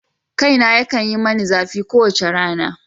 Kaina yakan yi mani zafi kowace yamma.